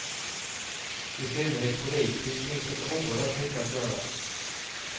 I synnerhet politiskt finns det så oerhört mycket att göra.